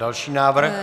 Další návrh.